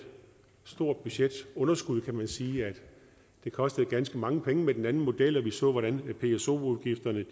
stort budgetunderskud kan man sige det kostede ganske mange penge med den anden model og vi så hvordan pso udgifterne